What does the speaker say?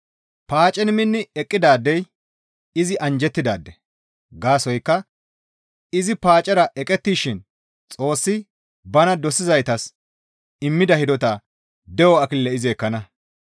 Paacen minni eqqidaadey izi anjjettidaade; gaasoykka izi paacera eqettishin Xoossi bana dosizaytas immida hidota de7o akilile izi ekkana.